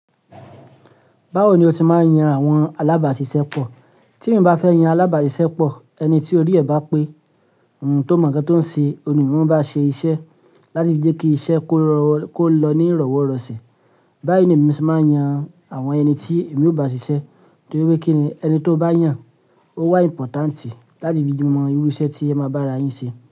Báwo ni o se máa yan àwọn alábàáṣiṣẹ́ pọ̀? Tí eeyan bá fẹ́ yan alábàáṣiṣẹ́ pọ̀, ẹni tí orí ẹ̀ bá pé um tó mọ̀ nǹkan tó ń ṣe, òun ni mòún maá ba ṣe iṣẹ́ láti jẹ́ kí iṣẹ́ kó lọ ní ìrọ̀wọ́ rọ̀sẹ̀. Báyìí ni lemi se máa yan àwọn ẹni tí èmi ó bá ṣiṣẹ́ torí kini ẹni tó bá yàn ó wà ìmpọ̀tàǹtì láti fi mọ irú iṣẹ́ tí ẹ máa bára yín ṣe.